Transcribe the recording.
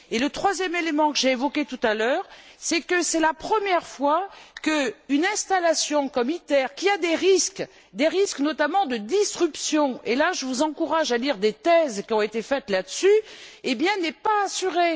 Un troisième élément que j'ai évoqué tout à l'heure, c'est que c'est la première fois qu'une installation comme ITER, qui comporte des risques, notamment de disruptions je vous encourage à lire les thèses qui ont été faites là dessus n'est pas assurée.